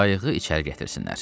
qayığı içəri gətirsinlər.